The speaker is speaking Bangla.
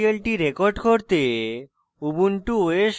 tutorial record করতে